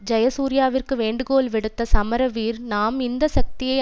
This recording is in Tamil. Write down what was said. ஜயசூரியவுக்கு வேண்டுகோள் விடுத்த சமரவீர நாம் இந்த சக்தியை